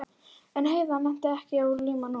En Heiða nennti ekki að líma núna.